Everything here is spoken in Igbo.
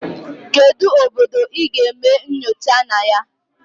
Kedu obodo ị ga-eme nyocha na ya?